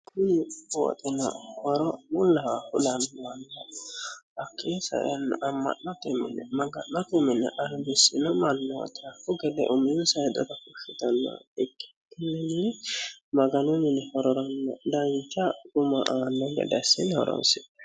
kuni booxino woro mullaha kulanniwanno hakki saenno amma'note mini maga'nate mine albissino mannooti kugele umiyu saidora kushshitanno ikkikkinni maganu mini hororanno daancha guma aanno gede assine horoonsi'nanni.